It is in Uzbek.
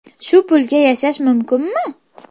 Shu pulga yashash mumkinmi?